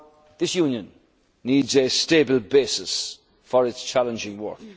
data protection. This Union needs a stable basis for its